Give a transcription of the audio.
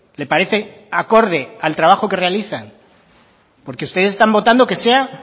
le parece acorde al trabajo que realizan porque ustedes están votando que sea